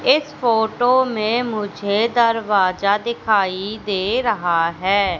इस फोटो में मुझे दरवाजा दिखाई दे रहा है।